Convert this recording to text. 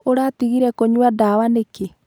Ũratigire kũnyua ndawa nikĩĩ?.